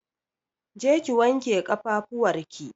Je ki wanke ƙafafuwar ki!